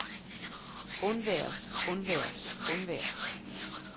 undværes undværes undværes